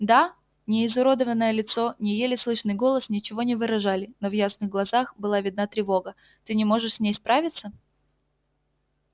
да ни изуродованное лицо ни еле слышный голос ничего не выражали но в ясных глазах была видна тревога ты не можешь с ней справиться